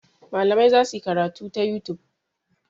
Malamai za su yi karatu ta youtube.